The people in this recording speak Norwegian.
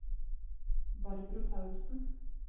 Barbro Paulsen